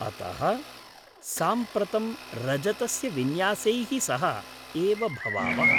अतः, साम्प्रतं रजतस्य विन्यासैः सह एव भवावः।